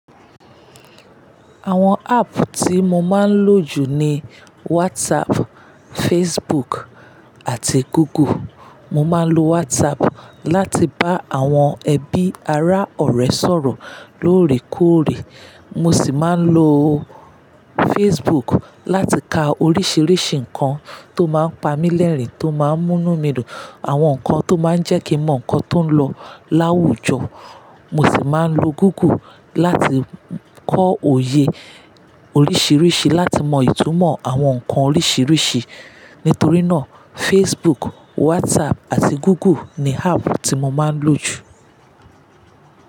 Àwọn app tí mo máa ń lò jù ni WhatsApp, Facebook àti Google. Mo máa ń lo WhatsApp láti bá àwọn ẹbí ará ọ̀rẹ́ sọ̀rọ̀ lóòrèkóòrè. Mo sì máa ń lo Facebook láti ka oríṣiríṣi nǹkan tó máa ń pa mí lẹ́rìn-ín, tó máa ń mú inu mi dun àwọn nǹkan tó máa ń jẹ́ kí mo mọ nǹkan tó ń lọ láwùjọ. Mo sì máa ń lo Google láti kọ òye oríṣiríṣi, láti mọ ìtumọ̀ àwọn nǹkan oríṣiríṣi. Nítorí náà Facebook, WhatsApp àti Google ni app tí mo máa ń lò jù.